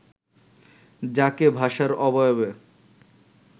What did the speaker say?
যাকে ভাষার অবয়বে